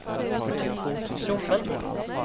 Glommen